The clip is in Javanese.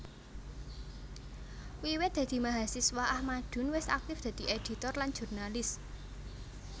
Wiwit dadi mahasiswa Ahmadun wis aktif dadi éditor lan jurnalis